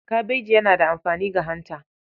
Kabeji yana da amfani ga hanta.